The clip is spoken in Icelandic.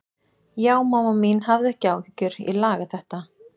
Já, mamma mín, hafðu ekki áhyggjur, ég laga þetta.